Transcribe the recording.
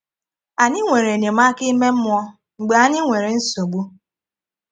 Anyị nwere enyémàká ime mmụọ́ mgbe ànyị nwere nsogbu